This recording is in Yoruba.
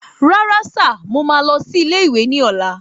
Rárá sìr mọ ma lọ sí ilé ìwé ní ola